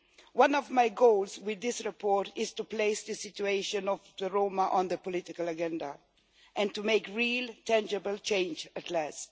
One of my goals with this report is to place the situation of the Roma on the political agenda and to make real, tangible change at last.